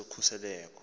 lwezokhuseleko